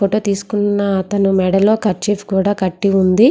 Photo తీసుకున్న అతన్ను మెడలో కర్చీఫ్ కూడా కటి ఉంది.